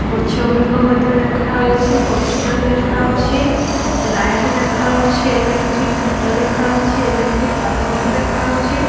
ଗଛ ଗୁଡିକ ମଧ୍ୟ ଦେଖାଉଛି ପୋଷ୍ଟଲ ଦେଖାଉଛି ଲାଇଟ୍ ମଧ୍ୟ ଦେଖାଉଛି ଇଲେକ୍ଟ୍ରି ଖୁଣ୍ଟ ଦେଖାଉଚି ଇଲେକ୍ଟ୍ରି ତାର ମଧ୍ୟ ଦେଖାଉଚି।